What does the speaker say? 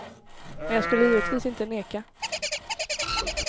Men jag skulle givetvis inte neka.